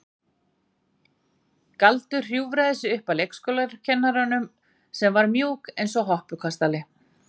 Galdur hjúfraði sig upp að leikskólakennaranum sem var mjúk eins og hoppukastali.